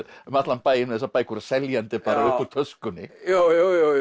um allan bæ með þessar bækur seljandi bara upp úr töskunni jú jú